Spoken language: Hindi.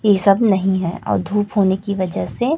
ई सब नहीं है और धूप होने की वजह से--